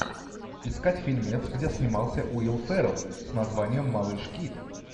искать фильмец где снимался уилл феррелл с названием малыш кид